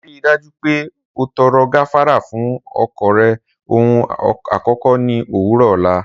Rii daju pe o tọrọ gafara fun ọkọ rẹ ohun akọkọ ni owurọ ọla.